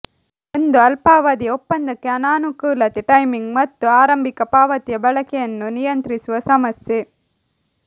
ಒಂದು ಅಲ್ಪಾವಧಿಯ ಒಪ್ಪಂದಕ್ಕೆ ಅನಾನುಕೂಲತೆ ಟೈಮಿಂಗ್ ಮತ್ತು ಆರಂಭಿಕ ಪಾವತಿಯ ಬಳಕೆಯನ್ನು ನಿಯಂತ್ರಿಸುವ ಸಮಸ್ಯೆ